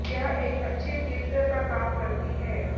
यह एक अच्छे क्लीन्जर का काम करती है